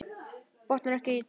Botnar ekkert í honum.